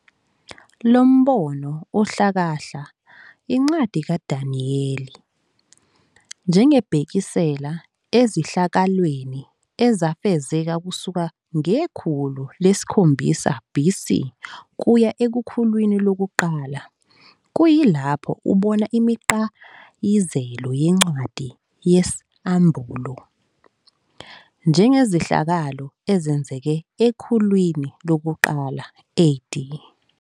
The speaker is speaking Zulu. Lombono uhlakahla incwadi kaDaniyeli njengebhekisela ezehlakalweni ezafezeka kusuka ngekhulu lesikhombisa BC kuya ekhulwini lokuqala, kuyilapho ubona imiqayizelo yencwadi yesAmbulo njengezehlakalo ezenzeke ekhulwini lokuqala AD.